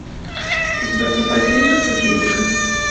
у тебя в запасе есть жестокие игры